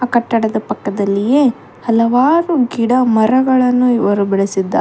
ಕಟ್ಟಡದ ಪಕ್ಕದಲ್ಲಿ ಹಲವಾರು ಗಿಡ ಮರಗಳನ್ನು ಇವರು ಬೆಳೆಸಿದ್ದಾರೆ.